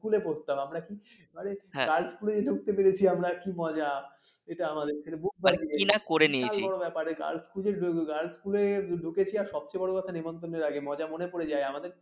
school এ পড়তাম আমরা কী মানে girls স্কুল এ ঢুকতে পেরেছি আমরা কি মজা এই আমাদের বুক বাজিয়ে girls স্কুল এ ঢুকেছি আর সবচেয়ে বড় কথা নেমন্তন্নের আগে মজা মনে পড়ে যায়